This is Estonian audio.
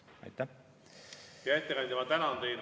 Hea ettekandja, ma tänan teid.